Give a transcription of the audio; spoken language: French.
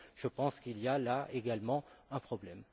Je pense qu'il y a là, également, un problème.